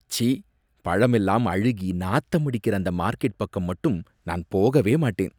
ச்சி! பழமெல்லாம் அழுகி நாத்தம் அடிக்கிற அந்த மார்க்கெட் பக்கம் மட்டும் நான் போகவே மாட்டேன்.